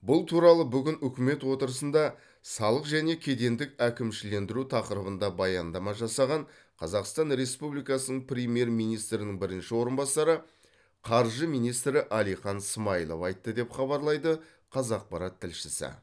бұл туралы бүгін үкімет отырысында салық және кедендік әкімшілендіру тақырыбында баяндама жасаған қазақстан республикасының премьер министрінің бірінші орынбасары қаржы министрі әлихан смайылов айтты деп хабарлайды қазақпарат тілшісі